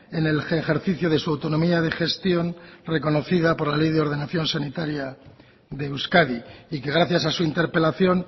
en el ejercicio de su autonomía de gestión reconocida por la ley de ordenación sanitaria de euskadi y que gracias a su interpelación